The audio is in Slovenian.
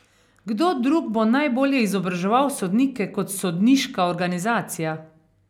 Kdo drug bo najbolje izobraževal sodnike kot sodniška organizacija?